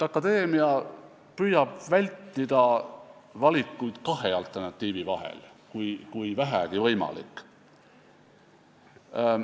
Akadeemia püüab vältida valikuid kahe alternatiivi vahel, kui vähegi võimalik.